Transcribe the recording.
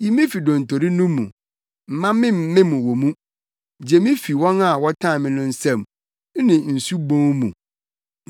Yi me fi dontori no mu, mma memmem wɔ mu; gye me fi wɔn a wɔtan me no nsam, ne nsu bun mu.